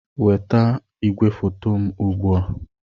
Nweta igwefoto m ugbu a!